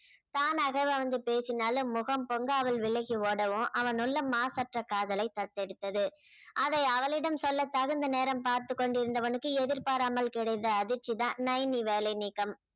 தானாக வந்து பேசினாலும் முகம் பொங்க அவள் விலகி ஓடவும் அவனுள்ள மாசற்ற காதலை தத்தெடுத்தது அதை அவளிடம் சொல்ல தகுந்த நேரம் பார்த்துக் கொண்டிருந்தவனுக்கு எதிர்பாராமல் கிடைத்த அதிர்ச்சிதான் நைனி வேலை நீக்கம்